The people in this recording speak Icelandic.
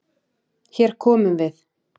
Hér komum við!